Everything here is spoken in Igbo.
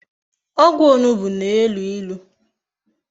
Ogwu onugbu na-elu ilu